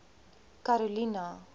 karolina